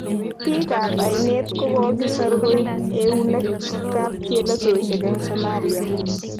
Bik kap ainet kokokisor koyob euneg kap chelesoshek eng Somalia.